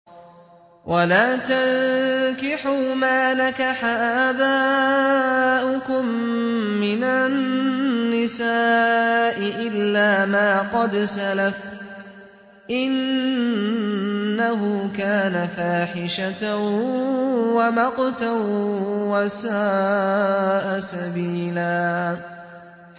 وَلَا تَنكِحُوا مَا نَكَحَ آبَاؤُكُم مِّنَ النِّسَاءِ إِلَّا مَا قَدْ سَلَفَ ۚ إِنَّهُ كَانَ فَاحِشَةً وَمَقْتًا وَسَاءَ سَبِيلًا